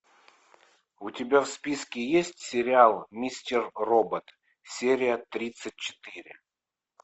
у тебя в списке есть сериал мистер робот серия тридцать четыре